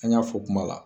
An y'a fɔ kuma la